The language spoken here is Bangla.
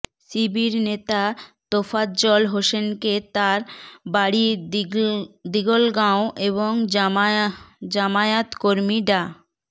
শিবির নেতা তোফাজ্জল হোসেনকে তাঁর বাড়ি দিঘলগাঁও এবং জামায়াত কর্মী ডা